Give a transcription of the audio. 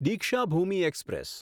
Deekshabhoomi express